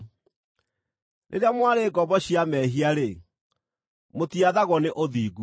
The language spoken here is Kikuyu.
Rĩrĩa mwarĩ ngombo cia mehia-rĩ, mũtiathagwo nĩ ũthingu.